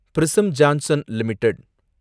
prism Johnson limited